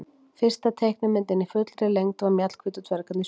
Fyrsta teiknimyndin í fullri lengd var Mjallhvít og dvergarnir sjö.